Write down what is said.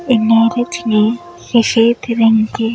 इमारत में सफेद रंग के --